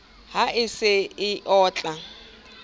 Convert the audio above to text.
ha e se e otla